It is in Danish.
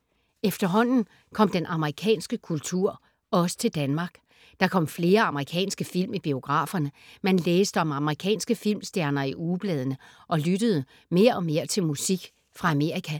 Efterhånden kom den amerikanske kultur også til Danmark. Der kom flere amerikanske film i biograferne, man læste om amerikanske filmstjerner i ugebladene og lyttede mere og mere til musik fra Amerika.